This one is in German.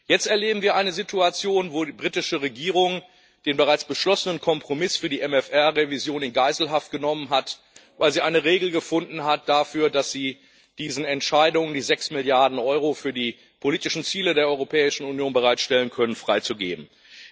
Jetzt erleben wir eine Situation, in der die britische Regierung den bereits beschlossenen Kompromiss für die MFR Revision in Geiselhaft genommen hat, weil sie eine Regel gefunden hat dafür, dass sie diesen Entscheidungen, sechs Milliarden Euro für die politischen Ziele der Europäischen Union bereitzustellen, nicht zustimmen muss.